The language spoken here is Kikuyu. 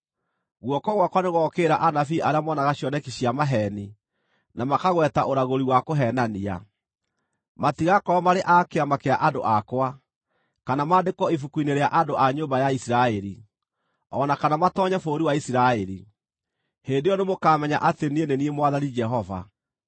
Guoko gwakwa nĩgũgookĩrĩra anabii arĩa moonaga cioneki cia maheeni, na makagweta ũragũri wa kũheenania. Matigakorwo marĩ a kĩama kĩa andũ akwa, kana maandĩkwo ibuku-inĩ rĩa andũ a nyũmba ya Isiraeli, o na kana matoonye bũrũri wa Isiraeli. Hĩndĩ ĩyo nĩmũkamenya atĩ niĩ nĩ niĩ Mwathani Jehova.